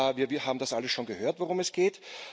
Wir haben das alles schon gehört, worum es geht.